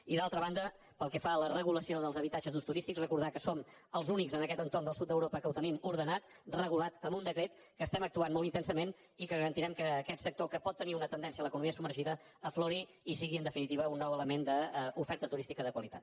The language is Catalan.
i d’altra banda pel que fa a la regulació dels habitatges d’ús turístic recordar que som els únics en aquest entorn del sud d’europa que ho tenim ordenat regulat amb un decret que estem actuant molt intensament i que garantirem que aquest sector que pot tenir una tendència a l’economia submergida aflori i sigui en definitiva un nou element d’oferta turística de qualitat